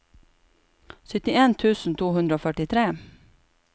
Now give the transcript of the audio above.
syttien tusen to hundre og førtitre